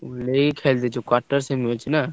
ଏଇ quarter semi ଅଛି ନାଁ?